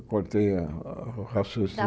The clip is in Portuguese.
Eu cortei a o raciocínio.